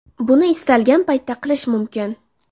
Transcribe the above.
Buni istalgan paytda qilish mumkin.